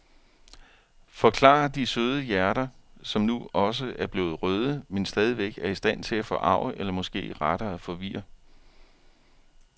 Forklarer de søde hjerter, som nu også er blevet røde, men stadigvæk er i stand til at forarge eller måske rettere forvirre.